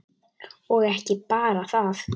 Og ekki bara það: